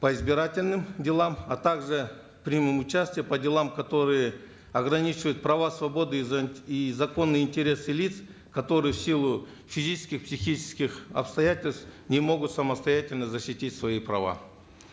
по избирательным делам а также примем участие по делам которые ограничивают права свободы и и законные интересы лиц которые в силу физических психических обстоятельств не могут самостоятельно защитить свои права